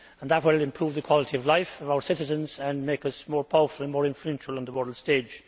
That will improve the quality of life for our citizens and make us more powerful and more influential on the world stage.